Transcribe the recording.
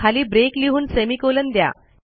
खाली ब्रेक लिहून सेमिकोलॉन द्या